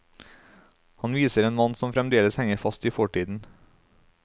Han viser en mann som fremdeles henger fast i fortiden.